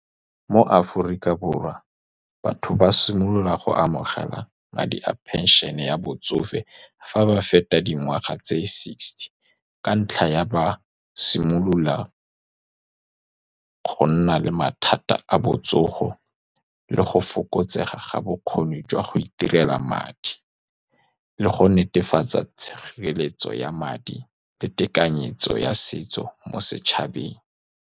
Mo Aforika Borwa, batho ba simolola go amogela madi a phenšhene ya botsofe fa ba feta dingwaga tse sixty, ka ntlha ya fa ba simolola go nna le mathata a botsogo le go fokotsega ga bokgoni jwa go itirela madi, le go netefatsa tshegetso ya madi le tekanyetso ya setso mo setšhabeng.